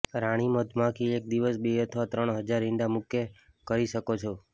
રાણી મધમાખી એક દિવસ બે અથવા ત્રણ હજાર ઇંડા મૂકે કરી શકો છો